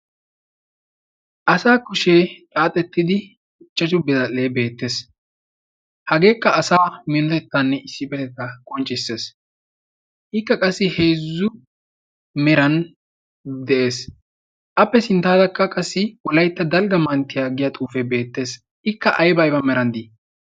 asa kushee xaaxettidi quchchachu biradhdhee beettees. hageekka asa minotettanne iss petetta qonccissees. ikka qassi heezzu meran de7ees. appe sinttaarakka qassi wolaitta dalgga manttiyaaggiya xuufe beettees. ikka aiba meran dii?